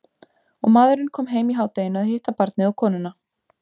Og maðurinn kom heim í hádeginu að hitta barnið og konuna.